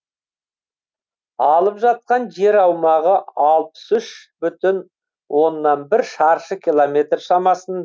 алып жатқан жер аумағы алпыс үш бүтін оннан бір шаршы километр шамасын